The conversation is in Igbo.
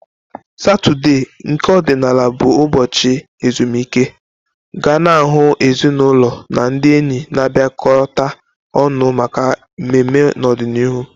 Satọde, nke ọdịnala bụ ụbọchị ezumike, ga na-ahụ ezinaụlọ na ndị enyi na-abịakọta ọnụ maka mmemme n'ọdịniihu.